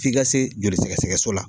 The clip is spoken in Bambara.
F'i ka se joli sɛgɛsɛgɛso la